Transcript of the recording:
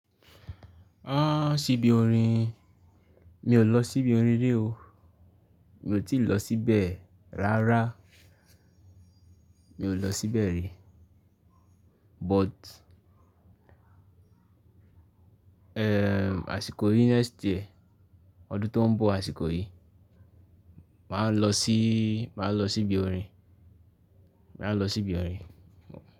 Sibi orin, mi ò lọ síbi orin rí o. Mi ò tíì lọ síbẹ̀ rárá. Mi ò lọ síbẹ̀ rí. But, àsìkò yìí next year, ọdún tó ń bọ̀ àsìkò yìí, màá lọ sí, màá lọ sí ibi orin. Màá lọ sí ibi orin.